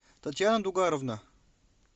татьяна дугаровна